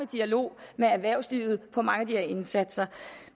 dialog med erhvervslivet for mange af de her indsatser